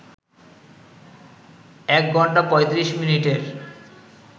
১ ঘন্টা ৩৫ মিনিটের